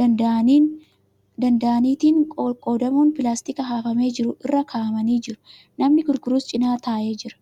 danda'aniitiin qoqqoodamuun pilaastikii hafamee jiru irra kaa'amanii jiru. Namni gurgurus cina taa'ee jira.